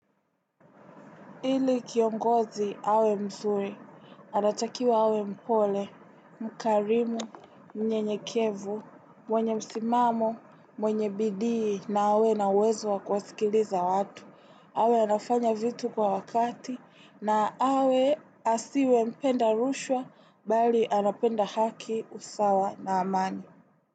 Ili kiongozi awe mzuri, anatakiwa awe mpole, mkarimu, mnyenyekevu, mwenye msimamo, mwenye bidii na awe na uwezo wa kuwasikiliza watu. Awe anafanya vitu kwa wakati na asiwe mpenda rushwa bali anapenda haki usawa na amani.